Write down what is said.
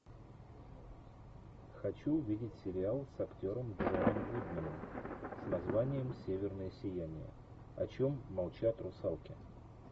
хочу увидеть сериал с актером джоном гудманом с названием северное сияние о чем молчат русалки